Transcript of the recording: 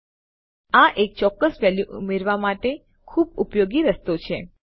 તો હા આ એક ચોક્કસ વેલ્યુ ઉમેરવા માટે ખુબ ઉપયોગી રસ્તો છે